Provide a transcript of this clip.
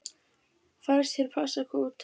Fannst hér passa kútar.